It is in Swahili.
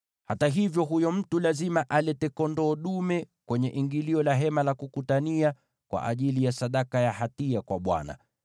Lakini huyo mtu lazima alete kondoo dume kwenye ingilio la Hema la Kukutania kwa ajili ya sadaka ya hatia kwa Bwana .